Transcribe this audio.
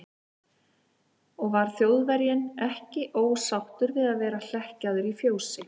Og var Þjóðverjinn ekki ósáttur við að vera hlekkjaður í fjósi?